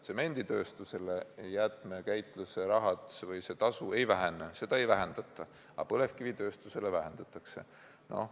Tsemenditööstusel jäätmekäitluse tasu ei vähene, seda ei vähendata, aga põlevkivitööstusel seda vähendatakse.